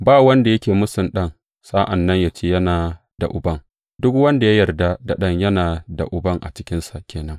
Ba wanda yake mūsun Ɗan, sa’an nan yă ce yana da Uban; duk wanda ya yarda da Ɗan, yana da Uban a cikinsa ke nan.